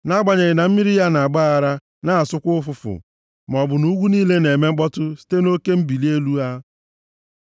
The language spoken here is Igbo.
Nʼagbanyeghị na mmiri ya na-agba aghara, na-asụkwa ụfụfụ, maọbụ na ugwu niile na-eme mkpọtụ site nʼoke mbili elu ha. Sela